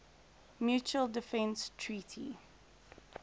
mutual defense treaty